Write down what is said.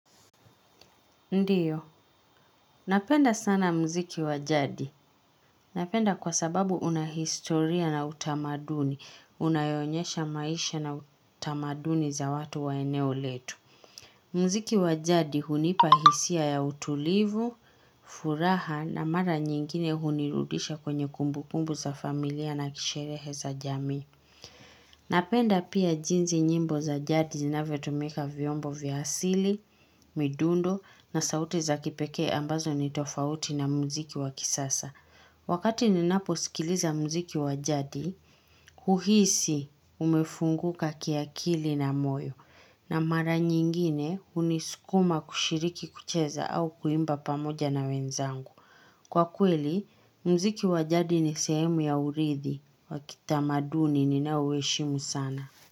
Ndiyo, napenda sana muziki wa jadi. Napenda kwa sababu una historia na utamaduni. Unayoonyesha maisha na tamaduni za watu wa eneo letu. Muziki wa jadi hunipa hisia ya utulivu, furaha na mara nyingine hunirudisha kwenye kumbukumbu za familia na kisherehe za jamii. Napenda pia jinsi nyimbo za jadi zinavyotumika, vyombo vya asili, midundo na sauti za kipekee ambazo ni tofauti na muziki wa kisasa. Wakati ninaposikiliza muziki wa jadi, huhisi umefunguka kiakili na moyo. Na mara nyingine hunisukuma kushiriki kucheza au kuimba pamoja na wenzangu. Kwa kweli, muziki wa jadi ni sehemu ya urithi, wa kitamaduni ninaouheshimu sana.